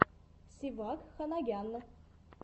севак ханагян